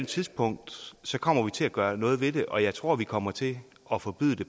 tidspunkt kommer til at gøre noget ved det og jeg tror at vi kommer til at forbyde det